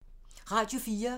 Radio 4